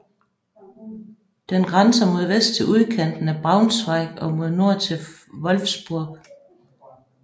Den grænser mod vest til udkanten af Braunschweig og mod nord til Wolfsburg